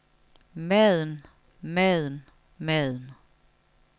maden maden maden